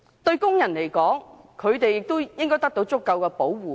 對工人來說，他們應該得到足夠的保護。